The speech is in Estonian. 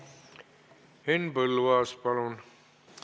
Henn Põlluaas, palun!